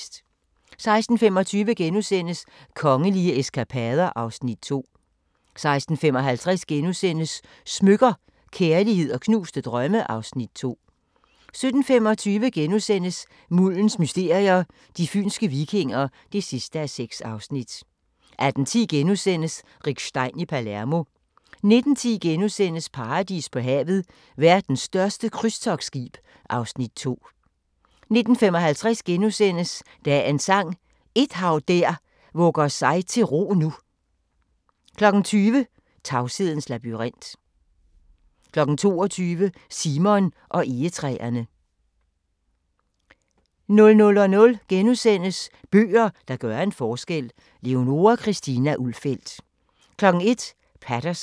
16:25: Kongelige eskapader (Afs. 2)* 16:55: Smykker – Kærlighed & knuste drømme (Afs. 2)* 17:25: Muldens mysterier – de fynske vikinger (6:6)* 18:10: Rick Stein i Palermo * 19:10: Paradis på havet – Verdens største krydstogtskib (Afs. 2)* 19:55: Dagens Sang: Et hav der vugger sig til ro nu * 20:00: Tavshedens labyrint 22:00: Simon og egetræerne 00:00: Bøger, der gør en forskel – Leonora Christina Ulfeldt * 01:00: Paterson